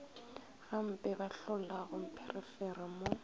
gampe ba hlolago mpherefere mo